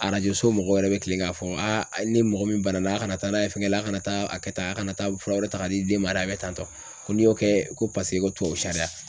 Arajo so mɔgɔw yɛrɛ be kilen k'a fɔ ni mɔgɔ min banana a' kana taa n'a ye fɛnkɛ la a' kana taa a kɛ tan a' kana taa fura wɛrɛ ta k'a di n den ma dɛ a bɛ tantɔ ko n'i y'o kɛɛ ko paseke ko tubabu sariya.